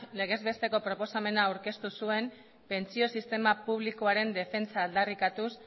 legez besteko proposamena aurkeztu zuen pentsio sistema publikoaren defentsa aldarrikatuz